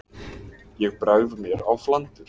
Ég bregð mér á flandur.